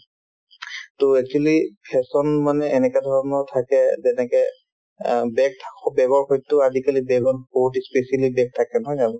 to actually fashion মানে এনেকাধৰণৰ থাকে যেনেকে অ bag থাকক bag ৰ সৈতেও আজিকালি bag ৰ বহুত ই specially bag থাকে নহয় জানো